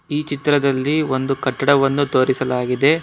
ಈ ಚಿತ್ರದಲ್ಲಿ ಒಂದು ಕಟ್ಟಡವನ್ನು ತೋರಿಸಲಾಗಿದೆ.